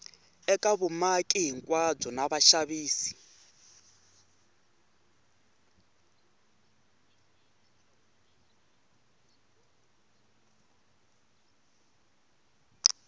eka vumaki hinkwabyo na vaxavis